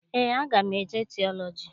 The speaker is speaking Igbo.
Eé, aga m eje tiọlọji.